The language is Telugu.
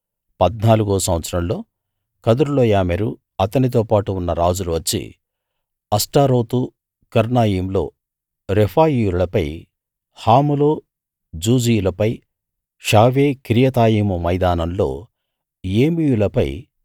పద్నాలుగో సంవత్సరంలో కదొర్లాయోమెరు అతనితోపాటు ఉన్న రాజులు వచ్చి అష్తారోత్‌ కర్నాయిములో రెఫాయీయులపై హాములో జూజీయులపై షావే కిర్యతాయిము మైదానంలో ఏమీయులపై